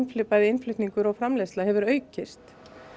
bæði innflutningur og framleiðsla hefur aukist